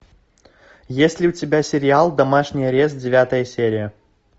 есть ли у тебя сериал домашний арест девятая серия